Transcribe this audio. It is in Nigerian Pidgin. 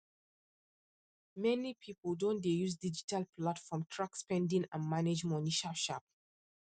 many people don dey use digital platform track spending and manage money sharp sharp